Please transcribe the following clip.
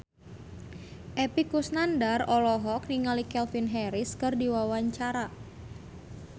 Epy Kusnandar olohok ningali Calvin Harris keur diwawancara